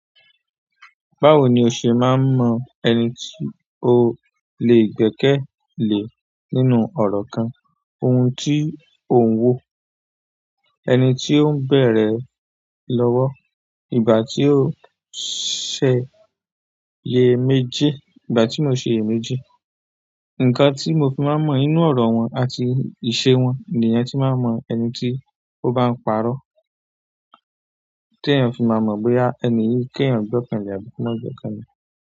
Báwo ni o ṣe máa ń mọ ẹni tí o lè gbẹ́kẹ̀lé nínú ọ̀rọ̀ kan, ohun tí ò ń wò, ẹni tí ó ń bẹ̀rẹ̀ lọ́wọ́, ìgbà tí ó ṣèye méjì, ìgbà tí mo ṣiyèméjì. Nǹkan tí mo fi máa mọ inú ọ̀rọ̀ wọn àti ìṣe wọn ni èèyàn tí máa mọ ẹni tí ó bá ń pa'rọ́. Tí èèyàn fi máa mọ̀ bóyá ẹni yìí kí èèyàn gbẹ́kẹ̀lé àbí kò má gbẹ́kẹ̀lé.